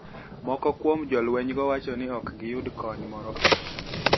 Moko kuom jolweniygo wacho nii ok giyud koniy moro amora.